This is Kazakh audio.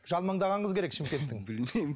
жалмаңдаған қыз керек шымкенттің білмеймін